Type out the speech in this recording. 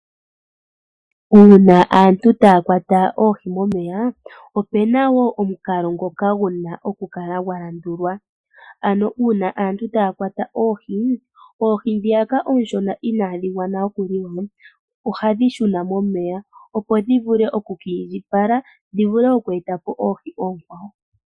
Uuna aantu taya kwata oohi momeya ope na wo omukalo ngoka guna oku kala gwa landulwa, ano uuna aantu taya kwata oohi, oohi dhiyaka ooshona inadhi gwana oku li wa ohadhi shuna momeya opo dhi vule oku kiindjipala dhi vule oku eta po oohi ookwawo.